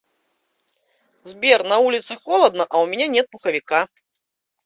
сбер на улице холодно а у меня нет пуховика